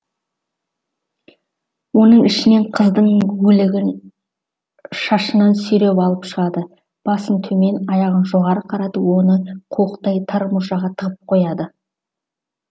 оның ішінен қыздың өлігін шашынан сүйреп алып шығады басын төмен аяғын жоғары қаратып оны қуықтай тар мұржаға тығып қойыпты